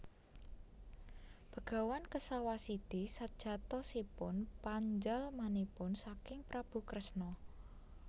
Begawan Kesawasidi sejatosipun panjalmanipun saking Prabu Kresna